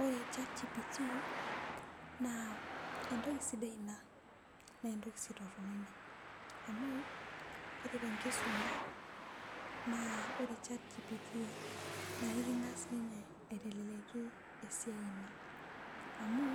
ore chat gpt naa entoki sidai ina naa entoki sii torono ina amu ore tenkisuma naa ore chat gpt naa eking'as ninye aiteleliaki esiai enkisuma , amu